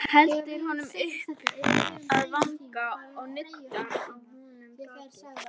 Heldur honum upp að vanga og nuddar á honum bakið.